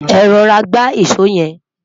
é rọra gba ìsọ yen